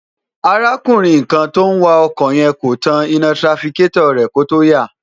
arákùnrin kan tó ń wa ọkọ̀ yẹn kò tan iná tirafikétọ̀ rẹ̀ kó tó yà